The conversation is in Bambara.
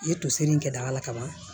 I ye toseri in kɛ daga la kaban